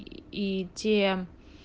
и те